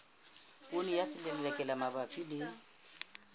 poone ya selelekela mabapi le